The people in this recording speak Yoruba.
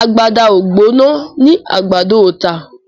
Àgbàdá o gbóná ní àgbàdo o tá